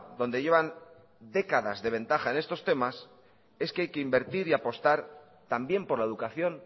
donde llevan décadas de ventaja en estos temas es que hay que invertir y apostar también por la educación